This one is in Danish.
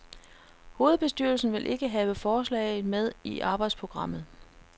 Hovedbestyrelsen ville ikke have forslaget med i arbejdsprogrammet.